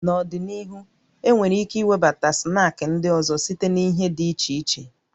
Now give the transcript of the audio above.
N'ọdịnihu, enwere ike iwebata snaakị ndị ọzọ site na ihe dị iche iche